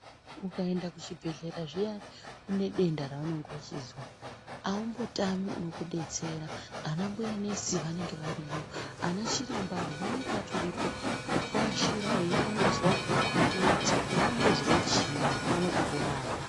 Ukaenda kuchibhedhlera zviyana unedenda raunenge weyizwa aumbotami unokubetsera ana mbuya nesi vanenge varimo ana chiremba avo vanenge vatoripo kukuashira nekuvonozwe kuti urikuzwa chiini vaone kukurapa.